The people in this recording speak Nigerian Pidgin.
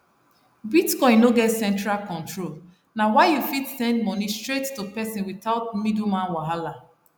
bitcoin no get central control na why you fit send money straight to person without middleman wahala